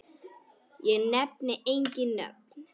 Ég nefni engin nöfn.